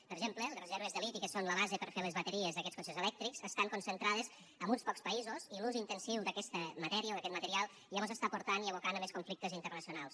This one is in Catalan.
per exemple les reserves de liti que són la base per fer les bateries d’aquests cotxes elèctrics estan concentrades en uns pocs països i l’ús intensiu d’aquesta matèria o d’aquest material ja mos està abocant a més conflictes internacionals